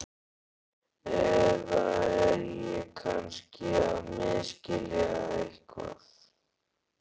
Eða er ég kannski að misskilja eitthvað?